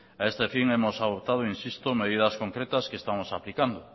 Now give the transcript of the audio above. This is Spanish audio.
a este fin hemos adoptado insisto medidas concretas que estamos aplicando